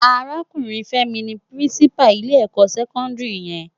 Árákúrin Femi ni Pirinsipá ilé èkò sèkòndiri yèn